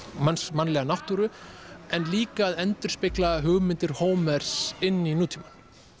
mannlega náttúru en líka að endurspegla hugmyndir Hómers inn í nútímann